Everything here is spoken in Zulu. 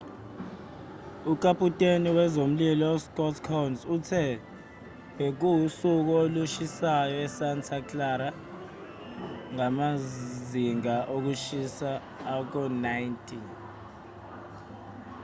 ukaputeni wezomlilo uscott kouns uthe bekuwusuku olushisayo esanta clara ngamazinga okushiwa ako-90